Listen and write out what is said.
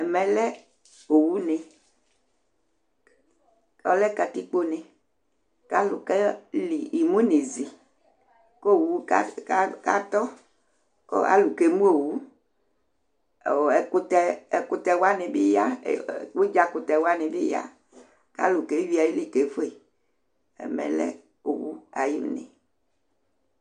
Ɛmɛ lɛ owune Ɔlɛ katikpone kʋ alʋ keli imu nʋ izi kʋ owu kas katɔ, kʋ alʋ kemu owu Ɔ ɛkʋtɛ, ɛkʋtɛ wanɩ bɩ ya e ɛ Ʋdzakʋtɛ wanɩ bɩ ya kʋ alʋ keyui ayili kefue Ɛmɛ lɛ owu ayʋ une